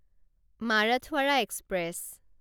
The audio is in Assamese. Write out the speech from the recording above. মাৰাঠৱাড়া এক্সপ্ৰেছ